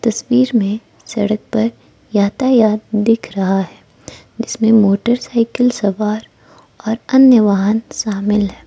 तस्वीर में सड़क पर यातायात दिख रहा है जिसमें मोटरसाइकिल सवार और अन्य वाहन शामिल है।